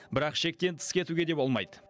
бірақ шектен тыс кетуге де болмайды